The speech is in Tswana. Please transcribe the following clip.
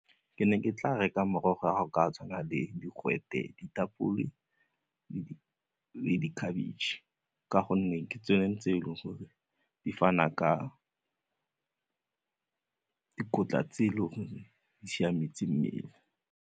Ke ne ke tla reka morogo ga go ka tshwana le digwete, ditapole le khabetšhe ka gonne ke tsone tse e leng gore di fana ka dikotla tse e leng gore di siametse mmele.